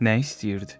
Nə istəyirdi?